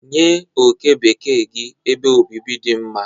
Nye oke bekee gị ebe obibi dị mma.